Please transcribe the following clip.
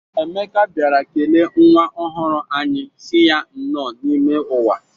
Emeka bịara kelee nwa ọhụrụ anyị sị ya nnọọ n'ime ụwa.